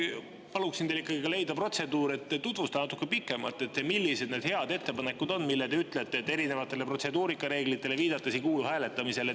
Paluksin teil leida protseduur, et tutvustada natuke pikemalt, millised need head ettepanekud on, mille kohta te ütlete erinevatele protseduurireeglitele viidates, et need ei kuulu hääletamisele.